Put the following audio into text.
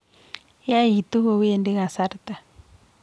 Yaitu kowendi kasarta